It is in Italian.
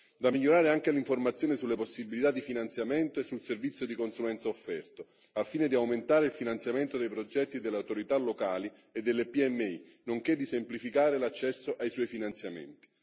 Da migliorare è anche l'informazione sulle possibilità di finanziamento e sul servizio di consulenza offerto, al fine di aumentare il finanziamento dei progetti delle autorità locali e delle PMI, nonché di semplificare l'accesso ai suoi finanziamenti.